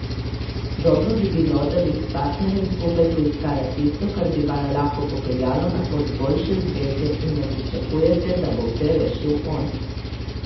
Dobro bi bilo, da bi s partnerjem skupaj poiskala tisto, kar bi vaju lahko popeljalo na pot boljše zveze, in ne pričakujte, da bo vse rešil on.